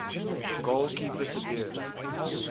goal keeper sabir